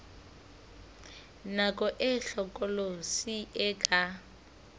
nako e hlokolosi e ka